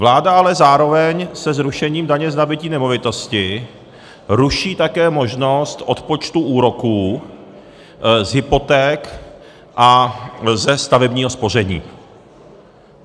Vláda ale zároveň se zrušením daně z nabytí nemovitosti ruší také možnost odpočtu úroků z hypoték a ze stavebního spoření.